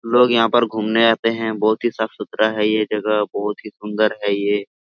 लोग यहां पर घूमने आते हैं बहुत ही साफ-सुथरा है ये जगह बहुत ही सुंदर है ये।